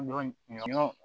Ɲɔ ɲɔ ɲɔ